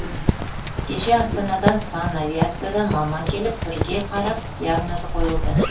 кеше астанадан санавиациядан маман келіп бірге қарап диагнозы қойылды